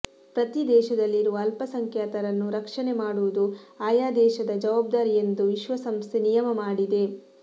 ಪ್ರತಿ ದೇಶದಲ್ಲಿರುವ ಅಲ್ಪಸಂಖ್ಯಾತರನ್ನು ರಕ್ಷಣೆ ಮಾಡುವುದು ಆಯಾ ದೇಶದ ಜವಾಬ್ದಾರಿ ಎಂದು ವಿಶ್ವಸಂಸ್ಥೆ ನಿಯಮ ಮಾಡಿದೆ